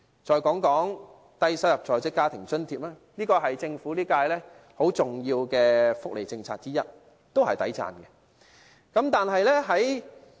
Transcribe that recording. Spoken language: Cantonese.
再談談低收入在職家庭津貼，這是現屆政府其中一項很重要的福利政策，也是值得稱讚的。